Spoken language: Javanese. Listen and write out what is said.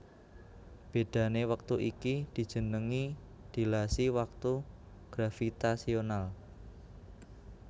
Bedhané wektu iki dijenengi dilasi waktu gravitasional